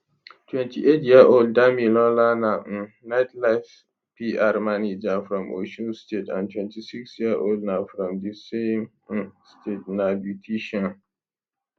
28yearold damilola na um nightlife pr manager from osun state and 26yearold na na from di same um state na beautician